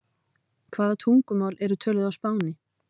Hvaða tungumál eru töluð á Spáni?